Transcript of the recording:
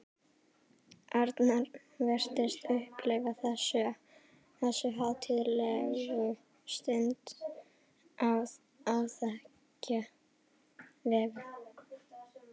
Arnar virtist upplifa þessu hátíðlegu stund á áþekka vegu.